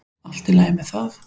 Allt í lagi með það.